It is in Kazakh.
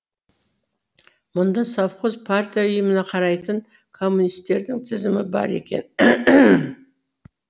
мұнда совхоз партия ұйымына қарайтын коммунистердің тізімі бар екен